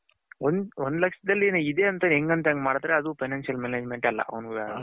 ಒಂದ್ ಲಕ್ಷದಲ್ಲಿ ಇದೆ ಅಂತ ಹೆಂಗ್ ಅಂತ ಮಾಡದ್ರೆ ಅದು financial management ಅಲ್ಲ